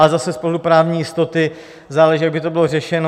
Ale zase z pohledu právní jistoty záleží, jak by to bylo řešeno.